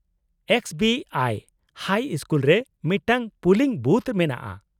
-X ᱵᱤ ᱟᱭ high school ᱨᱮ ᱢᱤᱫᱴᱟᱝ ᱯᱩᱞᱤᱝ ᱵᱷᱩᱛᱷ ᱢᱮᱱᱟᱜᱼᱟ ᱾